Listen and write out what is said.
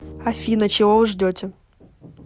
афина чего вы ждете